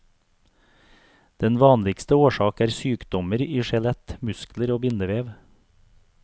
Den vanligste årsak er sykdommer i skjelett, muskler og bindevev.